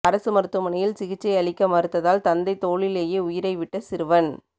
அரசு மருத்துவமனையில் சிகிச்சை அளிக்க மறுத்ததால் தந்தை தோளிலேயே உயிரைவிட்ட சிறுவன்